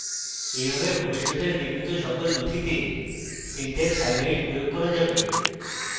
in ভাবে ভবিষ্যতে নির্মিত সমস্ত নথিতে syntax হাইলাইট প্রয়োগ হয়ে যাবে